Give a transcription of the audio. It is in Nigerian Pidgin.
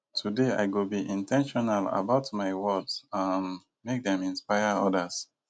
today i go be in ten tional about my words um make dem inspire others